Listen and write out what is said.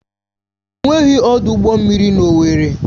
Enweghị ọdụ ụgbọ mmiri na owerri.